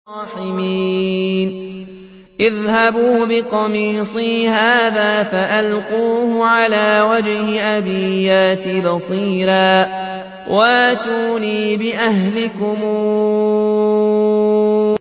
اذْهَبُوا بِقَمِيصِي هَٰذَا فَأَلْقُوهُ عَلَىٰ وَجْهِ أَبِي يَأْتِ بَصِيرًا وَأْتُونِي بِأَهْلِكُمْ أَجْمَعِينَ